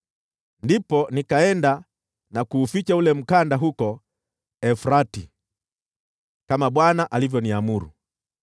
Ndipo nikaenda na kuuficha ule mkanda huko Frati, kama Bwana alivyoniamuru.